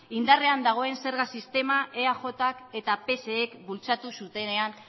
indarrean dagoen sistema eajk eta psek bultzatu zutenean